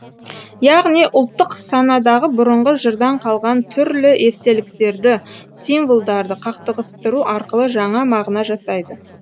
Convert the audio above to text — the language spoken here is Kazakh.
яғни ұлттық санадағы бұрынғы жырдан қалған түрлі естеліктерді символдарды қақтығыстыру арқылы жаңа мағына жасайды